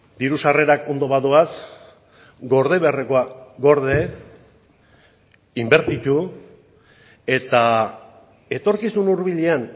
diru sarrerak ondo badoaz gorde beharrekoa gorde inbertitu eta etorkizun hurbilean